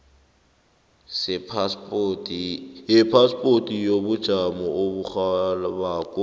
sephaspoti yobujamo oburhabako